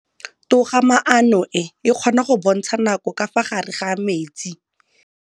Toga-maanô e, e kgona go bontsha nakô ka fa gare ga metsi.